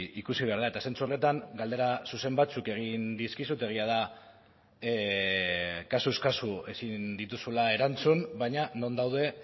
ikusi behar da eta zentzu horretan galdera zuzen batzuk egin dizkizut egia da kasuz kasu ezin dituzula erantzun baina non daude